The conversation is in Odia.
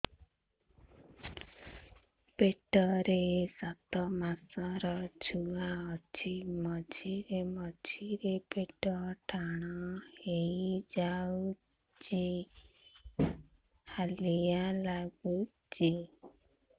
ପେଟ ରେ ସାତମାସର ଛୁଆ ଅଛି ମଝିରେ ମଝିରେ ପେଟ ଟାଣ ହେଇଯାଉଚି ହାଲିଆ ଲାଗୁଚି